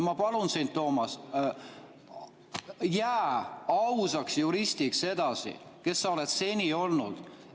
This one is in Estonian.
Ma palun sind, Toomas, jää ausaks juristiks edasi, kes sa oled seni olnud.